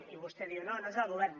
i vostè diu no no és el govern